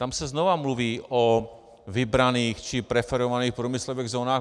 Tam se znova mluví o vybraných či preferovaných průmyslových zónách.